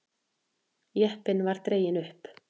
Jeppinn var dreginn upp.